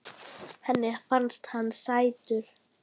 Henni fannst hann sætur.